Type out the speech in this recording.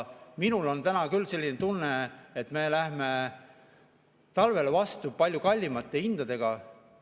Minul on täna küll selline tunne, et me lähme talvele vastu palju kallimate hindadega.